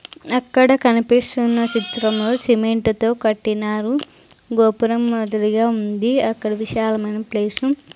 అక్కడ కనిపిస్తున్న సిత్రంలో సిమెంటు తో కట్టినారు గోపురం మాదిరిగా ఉంది అక్కడ విశాలమైన ప్లేసు --